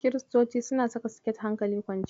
Kiristoci suna saka siket hankali kwance.